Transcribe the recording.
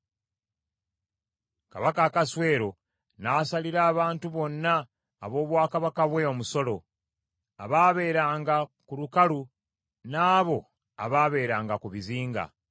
Kabaka Akaswero n’asalira abantu bonna ab’obwakabaka bwe omusolo, abaabeeranga ku lukalu n’abo abaabeeranga ku bizinga.